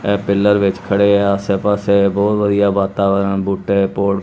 ਇਹ ਪਿਲਰ ਵਿੱਚ ਖੜੇ ਆ ਆਸੇ ਪਾਸੇ ਬਹੁਤ ਵਧੀਆ ਵਾਤਾਵਰਨ ਬੂਟੇ--